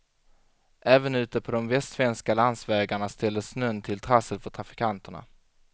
Även ute på de västsvenska landsvägarna ställde snön till trassel för trafikanterna.